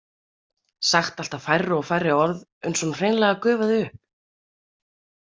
Sagt alltaf færri og færri orð uns hún hreinlega gufaði upp.